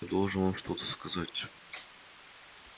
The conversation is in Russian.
должен вам что-то сказать